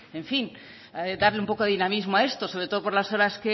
pues en fin darle un poco de dinamismo a esto sobre todo por las horas